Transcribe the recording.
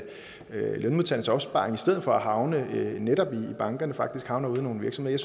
lønmodtagernes opsparing i stedet for at havne netop i bankerne faktisk havner ude i nogle virksomheder